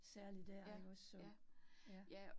Særlig dér ikke også så, ja